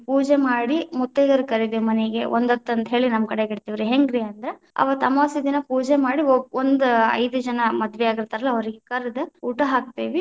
ಪೂಜೆ ಮಾಡಿ ಮುತ್ತೈದೆಯರನ್ನ ಕರಿತೇವಿ ಮನೆಗೆ, ಒಂದಹೊತ್ತ ಅಂತ ಹೇಳಿ ನಮ್ಮ ಕಡೆಗೆ ಇಡ್ತೇವ್ರಿ, ಹೆಂಗ್ರಿ ಅಂದ್ರ ಅವತ್ ಅಮವಾಸೆ ದಿನಾ ಪೂಜೆ ಮಾಡಿ ಒ~ ಒಂದ ಐದ ಜನಾ ಮದವೆ ಆಗಿತಾ೯ರಲ್ಲಾ, ಅವ್ರಿಗೆ ಕರೆದು ಊಟ ಹಾಕ್ತೇವಿ.